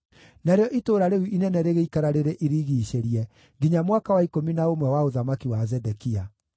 Narĩo itũũra rĩu inene rĩgĩikara rĩrĩ irigiicĩrie nginya mwaka wa ikũmi na ũmwe wa ũthamaki wa Zedekia.